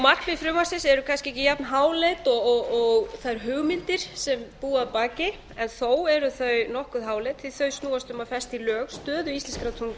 markmið frumvarpsins eru kannski ekki jafnháleit og þær hugmyndir sem búa að baka en þó eru þau nokkuð háleit því að þau snúast um að festa í lög stöðu íslenskrar